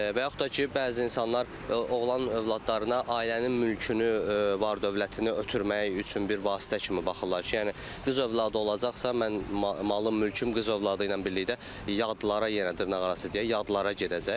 Və yaxud da ki, bəzi insanlar oğlan övladlarına ailənin mülkünü, var-dövlətini ötürmək üçün bir vasitə kimi baxırlar ki, yəni qız övladı olacaqsa mən malım, mülküm qız övladı ilə birlikdə yadlara yenə dırnaqarası deyək, yadlara gedəcək.